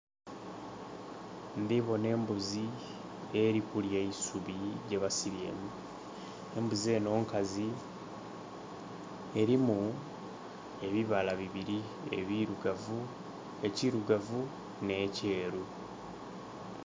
Ndhi bona embuzi eri kulya eisubi gyebasibye enho. Embuzi enho nkazi erimu ebibala bibiri, ebirugavu...ekirugavu nh'ekyeru.